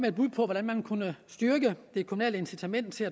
et bud på hvordan man kunne styrke det kommunale incitament til